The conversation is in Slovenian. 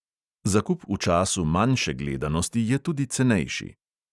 Zakup v času manjše gledanosti je tudi cenejši.